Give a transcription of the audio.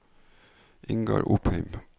Ingar Opheim